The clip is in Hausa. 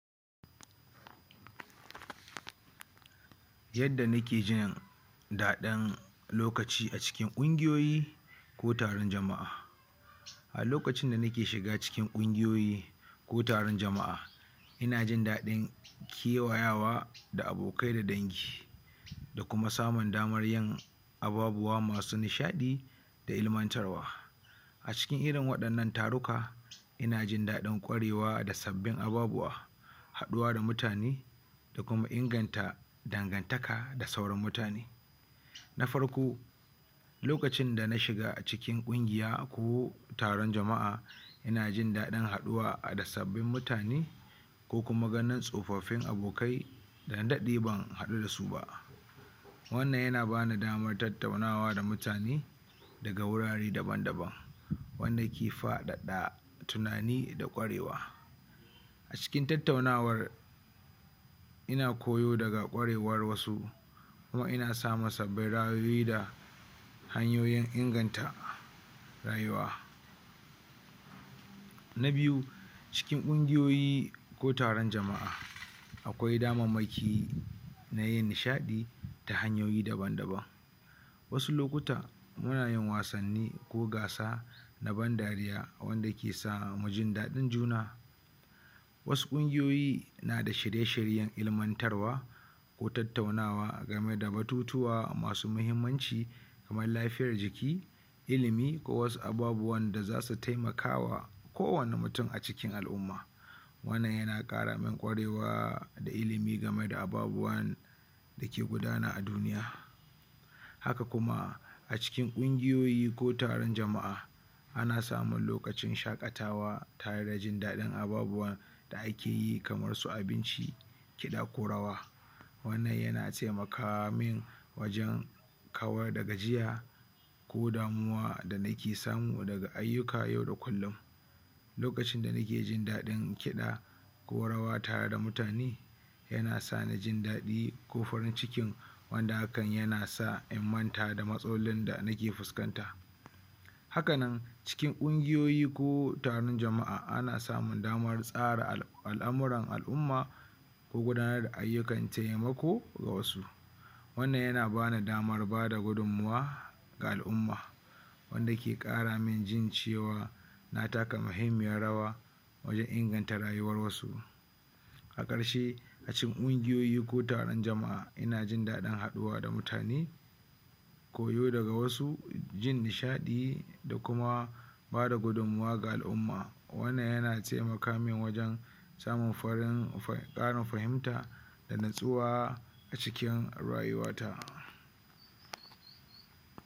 Yadda nike jin daɗin lokaci a cikin ƙungiyoyi ko taron jama'a a lokacin da nike shiga cikin ƙungiyoyi ko taron jama'a ina jin daɗin kewayawa da abokai da dangi da kuma samun damar yin ababuwa masu nishaɗi da kuma ilimantarwa a cikin irin waɗannan taruka ina jin daɗin ƙwarewa da sabbin ababuwa haɗuwa da mutane da kuma inganta dangantaka da sauran mutane. na farko lokacin da na shiga a cikin ƙungiya ko taron jama'a ina jin daɗin haɗuwa da sabbin mutane kokum ganin tsofaffin abokai da na daɗe ban haɗu da su ba wannan yana ba ni damar tattaunawa da mutane daga wurare daban-daban wanda ke faɗaɗa tunani da ƙwarewa a cikin tattaunawar ina koyo daga ƙwarewar wasu kuma ina sa masa hanyoyin inganta rayuwa na biyu cikin ƙungigoyi ko taron jama'a akwai damammaki na yin nishaɗi ta hanyoyi daban-daban wasu lokutan munayin wasanni ko gasa na ban dariya wanda ke samu jin daɗin juna wasu ƙungiyoyi na da shirye-shiryen ilimantarwa ko tattaunawa a game da batutuwa masu muhimmanci kamar lafiyar jiki alimi ko wasu abubuwan da za su taimaka wa kowane mutum a cikin al'umma wannan yana ƙara man ƙwarewa da ilimi game da ababuwan da ke gudana a duniya. haka kuma a cikin ƙungiyoyi ko taron jama'a ana samun lokacin shaƙatawa tare da jin daɗin ababuwan da ake yi kamar su kiɗa ko rawa wannan yana taimaka min wajen kawar da gajiya ko damuwa da nike samu daga ayyuka yau da kullum lokacin da nike jin daɗin kiɗa ko rawata da mutane yana sani jin daɗi ko farin ciki wanda hakan yana sa in manta da matsalolin da nike fuskanta haka nan cikin ƙungiyoyi ko taron jama'a ana sa samu damar tsara al'amuran al'umma ko gudanar da ayyukan taimako ga wasu wannan yana ba ni damar gudanar da al'amura ga al'umma wanda ke ƙara min jin cewa na taka muhimmiyar rawa wajen ingata rayuwar wasu a ƙarshe a cikin ƙungiyoyi ko taron jama'a ina jin daɗin haɗuwa da mutane koyo daga wasu jin nishaɗi da kuma bada gudummuwa ga al'umma wannan yana taimaka man wajen samun farin ƙarin fahimta da nutsuwa a cikin rayuwata